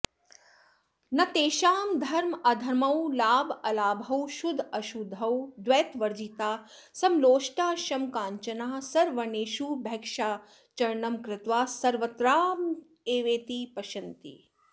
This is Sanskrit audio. न तेषां धर्माधर्मौ लाभालाभौ शुद्धाशुद्धौ द्वैतवर्जिता समलोष्टाश्मकाञ्चनाः सर्ववर्णेषु भैक्षाचरणं कृत्वा सर्वत्रात्मैवेति पश्यन्ति